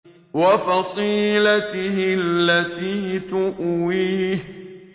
وَفَصِيلَتِهِ الَّتِي تُؤْوِيهِ